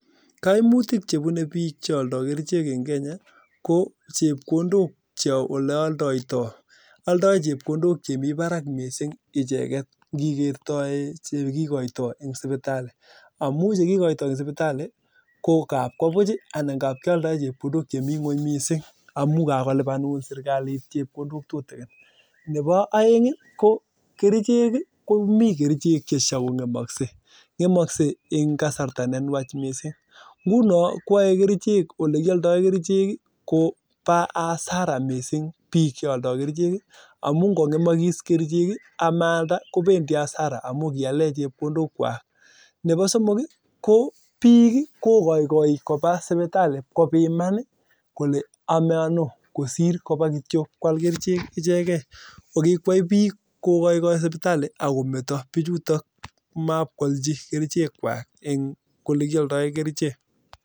Kautik ko chepkondok oleoldoytoo aldai chepkondok chemii barak missing ngikeretoi chekikotoi eng sipitalishek neboo aeng ii ko kerichek komii chengemaksei eng kasarta neenwach neai kobaa hasara missing ngomaalda kerichek chotok kora bik kokaikai kobaa sipitalii kopiman